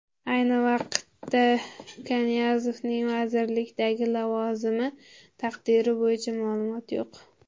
Ayni vaqtda Kanyazovning vazirlikdagi lavozimi taqdiri bo‘yicha ma’lumot yo‘q.